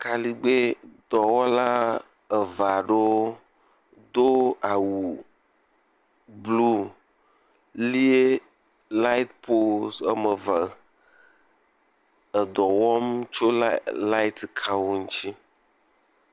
kaligbɛ dɔwɔla eveaɖewo dó awu blu lié laet pols ɔmeve edɔwɔm tso laet kawo ŋtsi